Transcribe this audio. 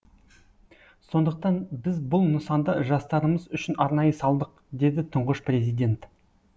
сондықтан біз бұл нысанды жастарымыз үшін арнайы салдық деді тұңғыш президент